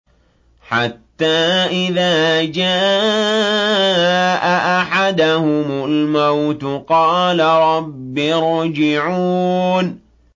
حَتَّىٰ إِذَا جَاءَ أَحَدَهُمُ الْمَوْتُ قَالَ رَبِّ ارْجِعُونِ